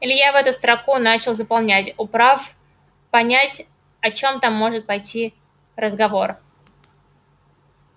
илья в эту строку начал заполнять управ понять о чём там может пойти разговор